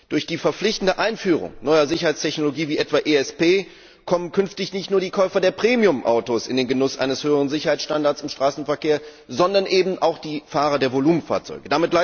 Durch die verpflichtende Einführung neuer Sicherheitstechnologie wie etwa ESP kommen künftig nicht nur die Käufer von Premiumautos in den Genuss eines höheren Sicherheitsstandards im Straßenverkehr, sondern eben auch die Fahrer von Volumenfahrzeugen.